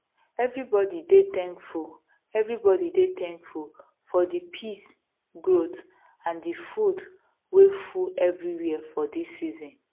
everybody dey thankful everybody dey thankful for the peace growth and the food way full everywhere for this season